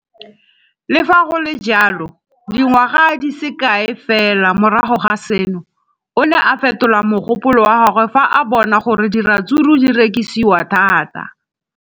Le fa go le jalo, dingwaga di se kae fela morago ga seno, o ne a fetola mogopolo wa gagwe fa a bona gore diratsuru di rekisiwa thata.